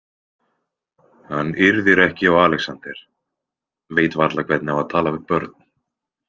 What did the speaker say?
Hann yrðir ekki á Alexander, veit varla hvernig á að tala við börn.